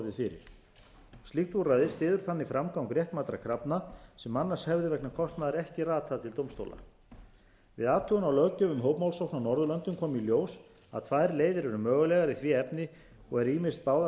fyrir slíkt úrræði styður þannig framgang réttmætra krafna sem annars hefðu vegna kostnaðar ekki ratað til dómstóla við athugun á löggjöf um hópmálsókn á norðurlöndum kom í ljós að tvær leiðir eru mögulegar í því efni og eru ýmist báðar